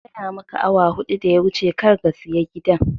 Na gaya maka awa huɗu da ya wuce kar ga saya gidan